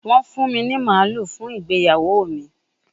Wọ́n fún mi ní màlúù fún ìgbéyàwó mi